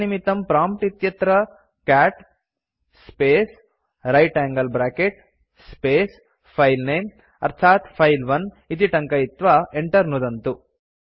तन्निमित्तं प्रॉम्प्ट् इत्यत्र cat space right angle bracket space filename अर्थात् फिले 1 इति टङ्कयित्वा enter नुदन्तु